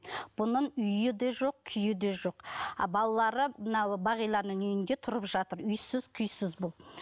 бұның үйі де жоқ күйі де жоқ ал балалары мына бағиланың үйінде тұрып жатыр үйсіз күйсіз бұл